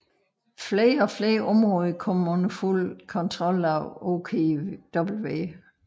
Flere og flere områder kom under fuld kontrol af OKW